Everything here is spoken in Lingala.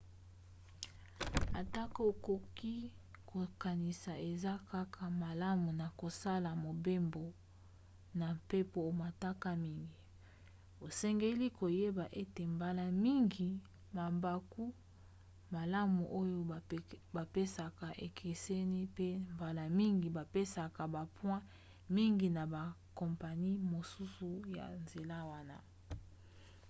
atako okoki kokanisi eza kaka malamu na kosala mobembo na mpepo omataka mingi osengeli koyeba ete mbala mingi mabaku malamu oyo bapesaka ekeseni pe mbala mingi bapesaka bapoint mingi na bakompani mosusu ya nzela wana